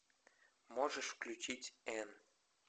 можешь включить энн